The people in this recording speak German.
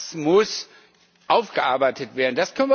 Das muss aufgearbeitet werden.